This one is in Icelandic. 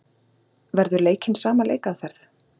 Verður leikinn sama leikaðferð?